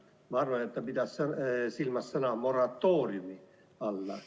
Ma arvan, et ta pidas silmas sõna "moratoorium".